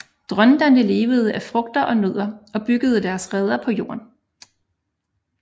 Dronterne levede af frugter og nødder og byggede deres reder på jorden